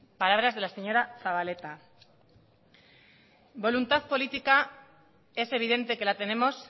palabras de la señora zabaleta voluntad política es evidente que la tenemos